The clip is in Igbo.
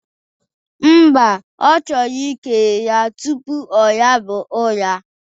Mba, ọ chọrọ ikele ya tụpụ ọnaba ụra